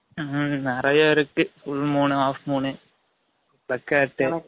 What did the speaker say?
ம்ம் நிரயா இருக்கு full moon , half moon , placat